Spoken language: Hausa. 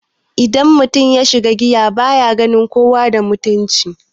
Idan mutum yasha giya baya ganin kowa da mutunci